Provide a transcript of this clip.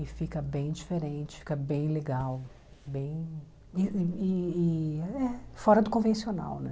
E fica bem diferente, fica bem legal, bem... e e e é fora do convencional, né?